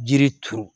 Jiri turu